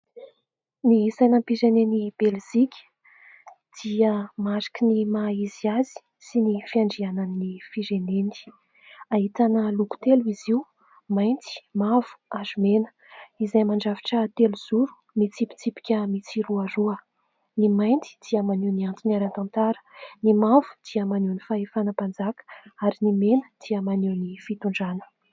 Ny sainam-pizenen'i Belzika dia mariky ny maha izy azy sy ny fiandrianan'ny fireneny. Ahitana loko telo izy io : mainty, mavo, ary mena, izay mandrafitra telo zoro mitsipitsipika mitsiroaroa. Ny mainty dia maneho ny antony ara- tantara ; ny mavo dia maneho ny fahefana mpanjaka ; ary ny mena dia maneho ny fitondrana.